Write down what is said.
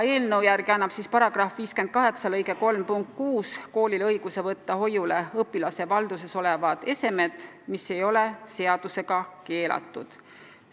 Eelnõu järgi annab § 58 lõike 3 punkt 6 koolile õiguse võtta hoiule õpilase valduses olevad esemed, mis ei ole seadusega keelatud.